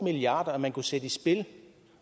milliard kr man kunne sætte i spil